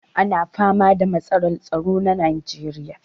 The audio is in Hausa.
Ana fama da matsalar tsaro a najeriya.